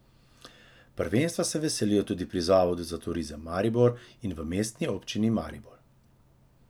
Prvenstva se veselijo tudi pri Zavodu za turizem Maribor in v mestni občini Maribor.